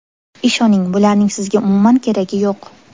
Ishoning, bularning sizga umuman keragi yo‘q.